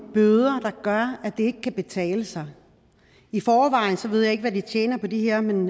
bøder der gør at det ikke kan betale sig jeg ved ikke hvad de tjener på de her men